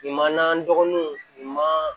Nin man nɔgɔn nin ma